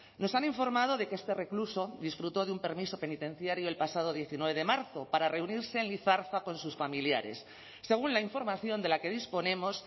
nos han informado de que este recluso disfrutó de un permiso penitenciario el pasado diecinueve de marzo para reunirse en lizarza con sus familiares según la información de la que disponemos